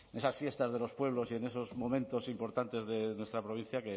esas fiestas de los pueblos y en esos momentos importantes de nuestra provincia